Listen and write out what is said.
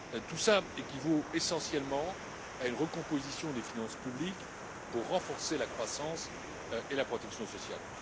Tout cela équivaut essentiellement à une recomposition des finances publiques pour renforcer la croissance et la protection sociale.